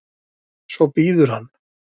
Svo bíður hann.